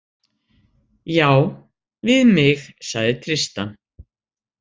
Já, við mig, sagði Tristan.